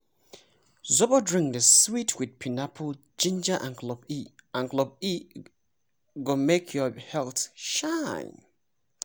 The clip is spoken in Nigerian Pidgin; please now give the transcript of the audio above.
zobo drink dey sweet with pineapple ginger and clove e and clove e go make your health shine!